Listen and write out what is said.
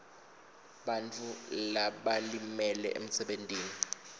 bantfu labalimele emsebentini